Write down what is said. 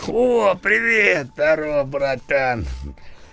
о привет здорово братан